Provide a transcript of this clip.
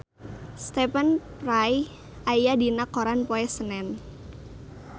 Stephen Fry aya dina koran poe Senen